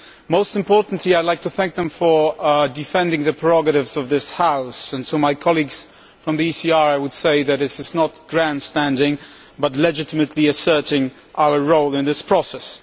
Most importantly, I would like to thank them for defending the prerogatives of this House. To my colleagues from the ECR, I would say that this is not grandstanding but legitimately asserting our role in this process.